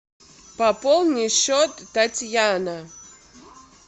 пополни счет татьяна